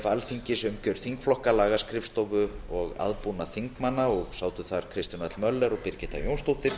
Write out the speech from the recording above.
alþingis umgjörð þingflokka lagaskrifstofu og aðbúnaður þingmanna til dæmis í þingsal og sátu þar kristján l möller og birgitta jónsdóttir